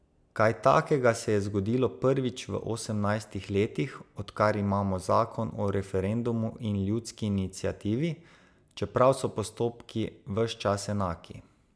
Kaj takega se je zgodilo prvič v osemnajstih letih, odkar imamo zakon o referendumu in ljudski iniciativi, čeprav so postopki ves čas enaki.